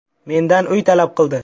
Mendan uy talab qildi.